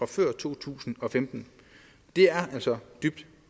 før to tusind og femten det er altså dybt